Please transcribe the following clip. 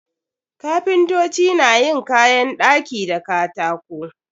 Kapintoci na yin kayan ɗaki da katako.